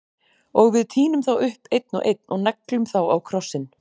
Og við tínum þá upp, einn og einn- og neglum þá á krossinn.